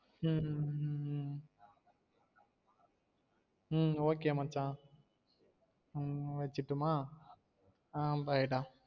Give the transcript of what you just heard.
உம் okay மச்சான் ஹம் வச்சிரட்டுமா அஹான் bye டா